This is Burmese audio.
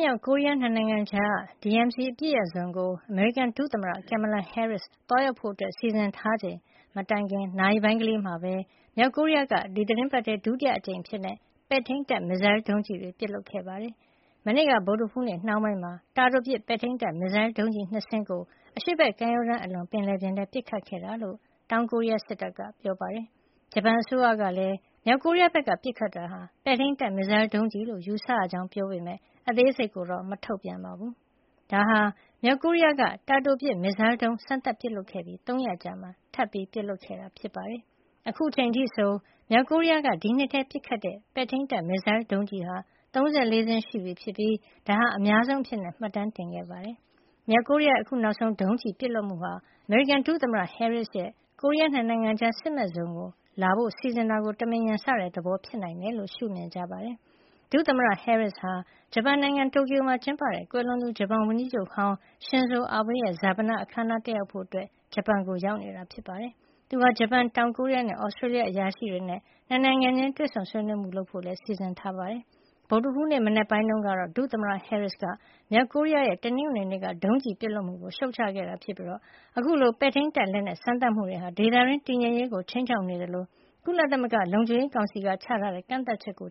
မြောက်ကိုရီးယား ၂ နိုင်ငံကြားက DMZ အပစ်ရပ်ဇုံကို အမေရိကန် ဒုသမ္မတ Kamala Harris သွားရောက်ဖို့ စီစဉ်ထားချိန် မတိုင်ခင် နာရီပိုင်းကလေးမှာပဲ မြောက်ကိုရီးယားက ဒီသီတင်းပတ်ထဲ ဒုတိယအကြိမ်အဖြစ် ပဲ့ထိန်းတပ်မစ်ဇိုင်းဒုံးကျည်တွေ ပစ်လွှတ်ခဲ့ပါတယ်။ မနေ့က ဗုဒ္ဓဟူးနေ့နှောင်းပိုင်းမှာ တာတိုပစ်ပဲ့ထိန်းတပ် မစ်ဇိုင်းဒုံးကျည် ၂ စင်းကို အရှေ့ဘက်ကမ်းရိုးတန်းအလွန် ပင်လယ်ပြင်ထဲ ပစ်ခတ်ခဲ့တာလို့ တောင်ကိုရီးယား စစ်တပ်က ပြောပါတယ်။ ဂျပန်အစိုးရကလည်း မြောက်ကိုရီးယားဘက်က ပစ်ခတ်တာဟာ ပဲ့ထိန်းတပ်မစ်ဇိုင်း ဒုံးကျည်လို့ ယူဆရကြောင်း ပြောပေမယ့် အသေးစိတ်ကိုတော့ မထုတ်ပြန်ပါဘူး။ ဒါဟာ မြောက်ကိုရီးယားက တာတိုပစ် မစ်ဇိုင်းဒုံး စမ်းသပ်ပစ်လွှတ်ခဲ့ပြီး ၃ ရက်အကြာမှာ ထပ်မံ ပစ်ခတ်ခဲ့တာပါ။ အခုအချိန်အထိဆို မြောက်ကိုရီးယားက ဒီနှစ်ထဲ ပစ်ခတ်တဲ့ ပဲ့ထိန်းတပ် မစ်ဇိုင်းဒုံးကျည်ဟာ ၃၄ စင်းရှိပြီဖြစ်ပြီး ဒါဟာ အများဆုံးအဖြစ် မှတ်တမ်းတင်ခဲ့တာပါ။ မြောက်ကိုရီးယားရဲ့ အခုနောက်ဆုံး ဒုံးကျည်ပစ်လွှတ်မှုဟာ အမေရိကန်ဒုသမ္မတ Harris ရဲ့ ကိုရီးယား ၂ နိုင်ငံကြား စစ်မဲ့ဇုံကို လာဖို့ စီစဉ်တာကို တမင်ရန်စတဲ့ သဘောဖြစ်နိုင်တယ်လို့ ရှုမြင်ကြပါတယ်။ ဒုသမ္မတ Harris ဟာ ဂျပန်နိုင်ငံ တိုကျိုမှာ ကျင်းပတဲ့ ကွယ်လွန်သူ ဂျပန်ဝန်ကြီးချုပ်ဟောင်း ရှင်ဇိုအာဘေးရဲ့ ဈာပန အခမ်းအနားကို တက်ရောက်ဖို့ ဂျပန်ကို ရောက်နေတာဖြစ်ပါတယ်။ သူဟာ ဂျပန်၊ တောင်ကိုရီးယားနဲ့ Australia အရာရှိတွေနဲ့ ၂ နိုင်ငံချင်း တွေ့ဆုံဆွေးနွေးမှုတွေ လုပ်ဖို့လည်းစီစဉ်ထားတာပါ။ ဗုဒ္ဓဟူးနေ့ မနက်ပိုင်းတုန်းကတော့ ဒုသမ္မတ Harris က မြောက်ကိုရီးယားရဲ့ တနင်္ဂနွေနေ့က ဒုံးကျည် ပစ်လွှတ်မှုကို ရှုတ်ချခဲ့တာ ဖြစ်ပြီး အခုလို ပဲ့ထိန်းတပ်လက်နက်စမ်းသပ်မှုတွေဟာ ဒေသတွင်း တည်ငြိမ်ရေးကို ခြိမ်းခြောက်နေသလို ကုလလုံခြုံရေးကောင်စီက ချမှတ်ထားတဲ့ ကန့်သတ်ချက်တွေကို